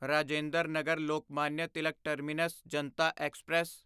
Rajinder Nagar Lokmanya Tilak terminus Janata express